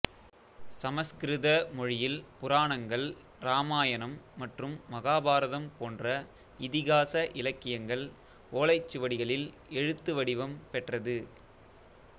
சமஸ்கிருத மொழியில் புராணங்கள் இராமாயணம் மற்றும் மகாபாரதம் போன்ற இதிகாச இலக்கியங்கள் ஓலைச் சுவடிகளில் எழுத்து வடிவம் பெற்றது